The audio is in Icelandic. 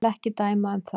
Ég vil ekki dæma um það.